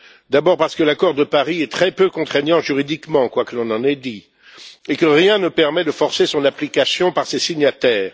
D'abord, parce que l'accord de Paris est très peu contraignant juridiquement, quoi que l'on en ait dit, et que rien ne permet de forcer son application par ses signataires.